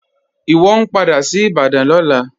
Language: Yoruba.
Iwọ n padà sí Ìbàdàn lọ́lá.